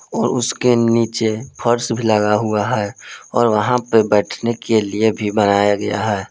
और उसके नीचे फर्श भी लगा हुआ है और वहां पे बैठने के लिए भी बनाया गया है।